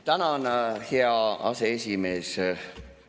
Tänan, hea aseesimees!